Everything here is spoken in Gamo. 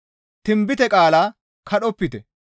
Tinbite qaala kadhopite.